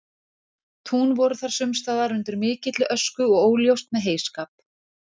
tún voru þar sumstaðar undir mikilli ösku og óljóst með heyskap